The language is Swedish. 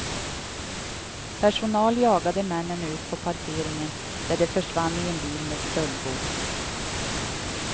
Personal jagade männen ut på parkeringen där de försvann i en bil med stöldgods.